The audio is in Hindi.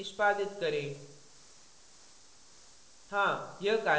कंपाइल और निष्पादित करें